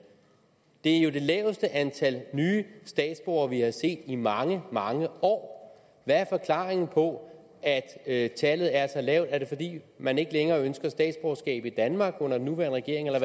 det er jo det laveste antal nye statsborgere vi har set i mange mange år hvad er forklaringen på at tallet er så lavt er det fordi man ikke længere ønsker statsborgerskab i danmark under den nuværende regering eller